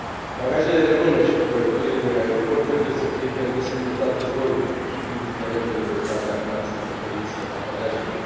Bagajele de mână și cumpărăturile din aeroport trebuie să fie permise pe toate zborurile, indiferent de greutatea maximă permisă a bagajelor.